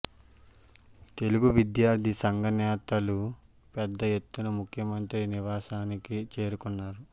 తెలుగు విద్యార్ది సంఘ నేతలు పెద్ద ఎత్తున ముఖ్యమంత్రి నివాసానికి చేరుకున్నారు